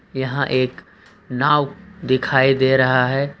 यहां एक नाव दिखाई दे रहा है।